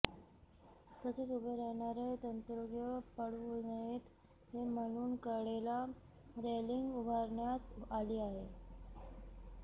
तसेच उभे राहणारे तंत्रज्ञ पडू नयेत म्हणून कडेला रेलिंग उभारण्यात आली आहे